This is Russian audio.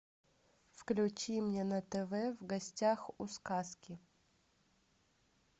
включи мне на тв в гостях у сказки